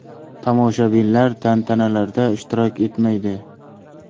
Tomoshabinlar tantanalarda ishtirok etmaydi.